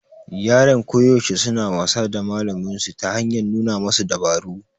Yaran koyaushe suna wasa da malaminsu ta hanyar nuna masa dabaru